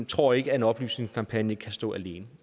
tror ikke at en oplysningskampagne kan stå alene